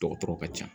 Dɔgɔtɔrɔ ka ca